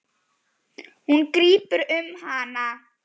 Hann grípur um hana.